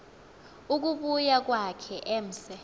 ukubuya kwakhe emse